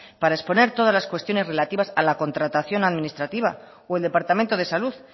para exponer todas las cuestiones relativas a la contratación administrativa o el departamento de salud